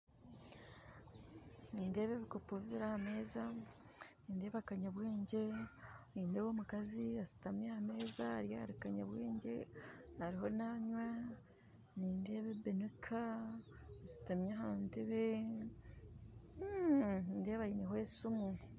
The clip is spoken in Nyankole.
Nindeeba ebikopo bibiri aha meeza nindeeba kanyabwengye nindeeba omukazi ashutami aha meeza ari ahari kanyabwengye ariho nanywa nindeeba ebinika eshutami aha ntebe hmm nindeeba aineho esimu